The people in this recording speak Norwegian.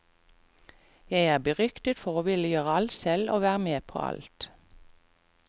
Jeg er beryktet for å ville gjøre alt selv og være med på alt.